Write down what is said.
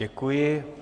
Děkuji.